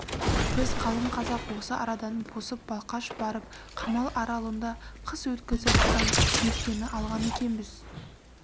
біз қалың қазақ осы арадан босып балқаш барып қамал аралында қыс өткізіп одан меркені алған екенбіз